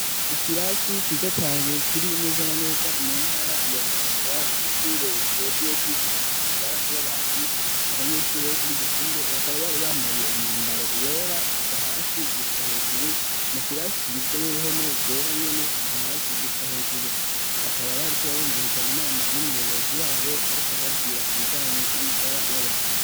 Ikirasi ciza cane kiri neza na neza mu ntara ya bujumbura c'ishure rijejwe gukurikirana amagara y'abantu abanyeshuri bo kuri iryo shure bakaba bari bambaye umwambaro wera kuva hasi gushika hejuru mu kirasi kigizwe n'uruhome gwera nyene kuva hasi gushika hejuru bakaba bariko barumviriza inama y'umuyobozi wabo ariko arababwira ku bijanye n'amagara y'abantu.